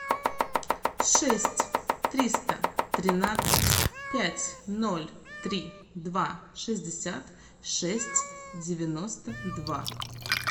шесть триста тринадцать пять ноль три два шестьдесят шесть девяносто два